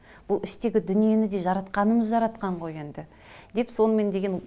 ол іштегі дүниені де жаратқанымыз жаратқан ғой енді деп соны мен деген